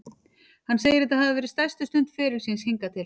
Hann segir þetta hafa verið stærstu stund ferils síns hingað til.